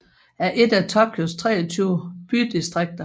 er et af Tokyos 23 bydistrikter